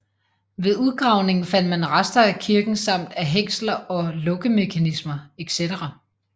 Ved udgravningen fandt man rester af kisten samt af hængsler og lukkemekanismer etc